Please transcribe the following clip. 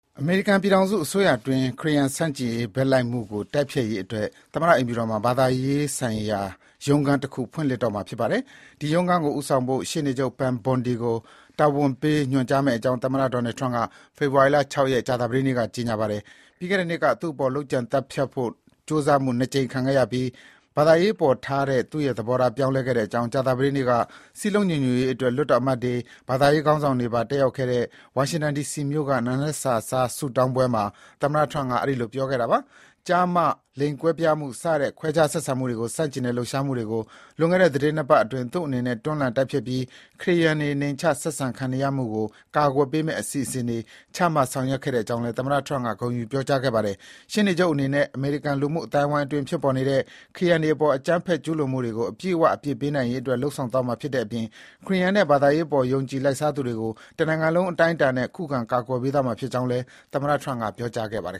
အမေရိကန် ပြည်ထောင်စုအစိုးရအတွင်း ခရစ်ယာန်ဆန့်ကျင်ရေး ဘက်လိုက်မှုကို တိုက်ဖျက်ရေးအတွက် သမ္မတအိမ်ဖြူတော်မှာ ဘာသာရေးဆိုင်ရာရုံးခန်းတခု ဖွင့်လှစ်တော့မှာ ဖြစ်ပါတယ်။ ဒီရုံးခန်းကို ဦးဆောင်ဖို့ ရှေ့နေချုပ် Pam Bondi ကို တာဝန်ပေးညွှန်ကြားမယ့်အကြောင်း သမ္မတ Donald Trump က ဖေဖော်ဝါရီ ၆ ရက်၊ ကြာသပတေးနေ့မှာ ပြောပါတယ်။ ပြီးခဲ့တဲ့နှစ်က သူ့အပေါ် လုပ်ကြံသတ်ဖြတ်ဖို့ ကြိုးစားမှု ၂ ကြိမ်ခံရပြီးနောက် ဘာသာရေးအပေါ်ထားတဲ့ သူ့ရဲ့သဘောထား ပြောင်းလဲခဲ့ကြောင်း ကြာသပတေးနေ့က စည်းလုံးညီညွတ်ရေးအတွက် လွှတ်တော်အမတ်တွေ၊ ဘာသာရေးခေါင်းဆောင်တွေပါ တက်ရောက်တဲ့ ဝါရှင်တန် ဒီစီမြို့က နံနက်စာစား ဆုတောင်းပွဲမှာ သမ္မတ Trump က အဲဒီလို ပြောခဲ့တာပါ။ ကျား/မ ၊ လိင်ကွဲပြားမှု စတဲ့ ခွဲခြားဆက်ဆံမှုတွေကိုဆန့်ကျင်တဲ့ လှုပ်ရှားမှုတွေကို လွန်ခဲ့တဲ့ သီတင်း ၂ ပတ်အတွင်း သူ့အနေနဲ့ တွန်းလှန် တိုက်ဖျက်ပြီး ခရစ်ယာန်တွေ နှိမ်ချ ဆက်ဆံခံနေရမှုကို ကာကွယ်ပေးမယ့် အစီအစဉ်တွေ ချမှတ် ဆောင်ရွက်ခဲ့ကြောင်းလည်း သမ္မတ Trump က ဂုဏ်ယူပြောကြားခဲ့ပါတယ်။ ရှေ့နေချုပ်အနေနဲ့ အမေရိကန်လူမှုအသိုင်းအဝန်းအတွင်း ဖြစ်ပေါ်နေတဲ့ ခရစ်ယာန်တွေအပေါ် အကြမ်းဖက်ကျူးလွန်မှုတွေကို အပြည့်အဝ အပြစ်ပေးနိုင်ရေးအတွက် လုပ်ဆောင်သွားမှာ ဖြစ်တဲ့အပြင် ခရစ်ယာန်နဲ့ ဘာသာရေးအပေါ် ယုံကြည်လိုက်စားသူတွေကို တနိုင်ငံလုံး အတိုင်းအတာနဲ့ ခုခံကာကွယ်ပေးသွားမှာဖြစ်ကြောင်းလည်း သမ္မတ Trump က ပြောကြားခဲ့ပါတယ်